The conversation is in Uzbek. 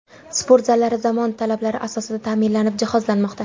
Sport zallari zamon talablari asosida ta’mirlanib, jihozlanmoqda.